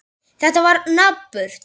Þetta var napurt.